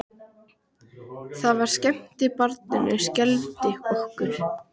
Það sem skemmti barninu skelfdi okkur.